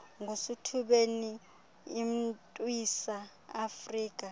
ngusithubeni imntwisa iafrika